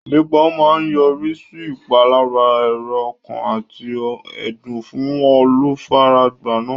Ìlépa máa yọrí sí ìpalára èrò ọkàn àti ẹ̀dùn fún olùfaragbá náà.